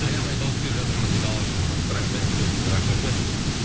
аямай дауыс беріп жатырмыз дейді алашұлына рахмет үлкен рахмет